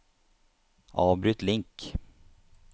avbryt link